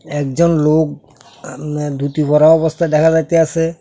একজন লোক আ উম ধুতি পরা অবস্থায় দেখা যাইতাসে।